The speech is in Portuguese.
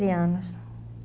anos.